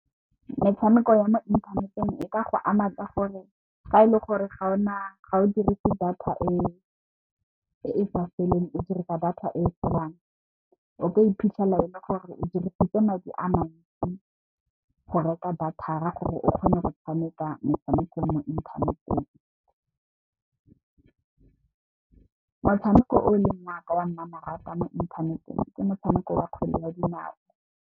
Metshameko ya mo inthaneteng e ka go ama fa e le gore ga o dirise data eo e sa feleng o dirisa data e turang o tlo iphitlhela e le gore o dirisitse madi a mantsi go reka data gore o kgone go tshameka motshameko mo inthaneteng. Motshameko o leng wa ka wa mmamoratwa mo inthaneteng ke motshameko wa kgwele ya dinao.